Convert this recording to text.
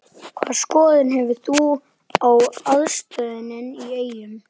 Hvaða skoðun hefur þú á aðstöðunni í Eyjum?